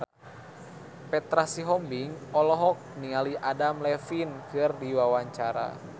Petra Sihombing olohok ningali Adam Levine keur diwawancara